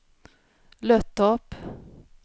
Löttorp